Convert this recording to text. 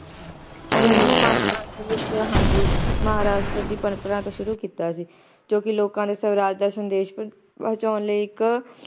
ਹੁਣ ਓਹਨਾ ਨੇ ਮਹਾਰਾਸ਼ਟਰ ਵਿਚ ਹਾਂਜੀ ਮਹਾਰਾਸ਼ਟਰ ਦੀ ਪਰੰਪਰਾ ਤੋਂ ਸ਼ੁਰੂ ਕੀਤਾ ਸੀ ਜੋ ਕਿ ਲੋਕਾਂ ਲਈ ਸਵਰਾਜ ਦਾ ਸੰਦੇਸ਼ ਪਹੁੰਚਾਉਣ ਲਈ ਇੱਕ